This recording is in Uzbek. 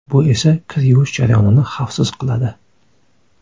Bu esa kir yuvish jarayonini xavfsiz qiladi.